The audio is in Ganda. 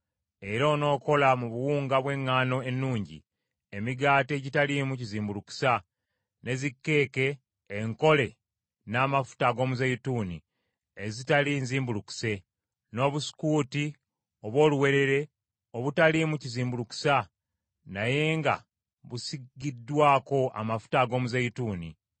Era onookola mu buwunga bw’eŋŋaano ennungi emigaati egitaliimu kizimbulukusa, ne zikkeeke enkole n’amafuta ag’omuzeeyituuni ezitali nzimbulukuse, n’obusukuuti obw’oluwewere obutaliimu kizimbulukusa naye nga busiigiddwako amafuta ag’omuzeeyituuni.